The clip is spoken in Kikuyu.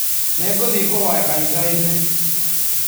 Nĩ ngũthiĩ kũhoya kanitha-inĩ